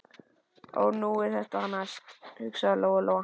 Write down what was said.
Ó, nú er það næst, hugsaði Lóa Lóa.